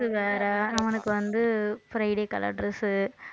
dress உ வேற அவனுக்கு வந்து friday colour dress உ